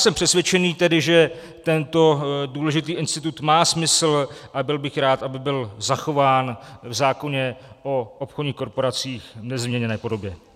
Jsem přesvědčen tedy, že tento důležitý institut má smysl, a byl bych rád, aby byl zachován v zákoně o obchodních korporacích v nezměněné podobě.